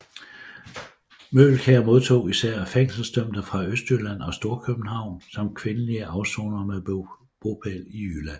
Møgelkær modtog især fængselsdømte fra Østjylland og Storkøbenhavn samt kvindelige afsonere med bopæl i Jylland